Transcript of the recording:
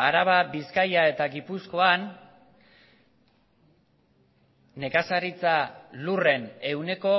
araba bizkaia eta gipuzkoan nekazaritza lurren ehuneko